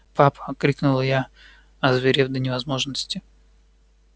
папа крикнула я озверев до невозможности